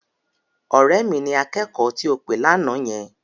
Ọ̀rẹ́ mi ni akẹ́kọ̀ọ́ tí ò pè lánàá yẹn.